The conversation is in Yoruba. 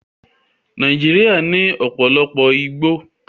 Nàìjíríà ní ọ̀pọ̀lọpọ̀ igbó